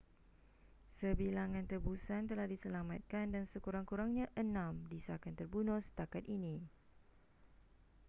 sebilangan tebusan telah diselamatkan dan sekurang-kurangnya enam disahkan terbunuh setakat ini